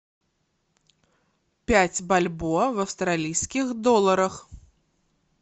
пять бальбоа в австралийских долларах